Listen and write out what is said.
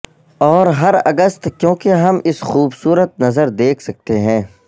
اور ہر اگست کیونکہ ہم اس خوبصورت نظر دیکھ سکتے ہیں